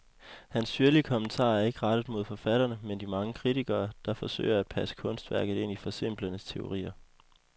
Hans syrlige kommentarer er ikke rettet mod forfatterne, men de mange kritikere, der forsøger at passe kunstværket ind i forsimplende teorier.